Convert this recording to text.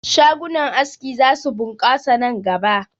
Shagunan aski za su ɓunkasa nan gaba